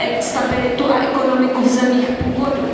stabilitu a ekonomiku v zemích původu.